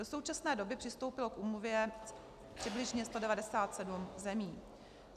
Do současné doby přistoupilo k úmluvě přibližně 197 zemí.